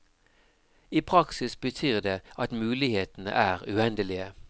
I praksis betyr det at mulighetene er uendelige.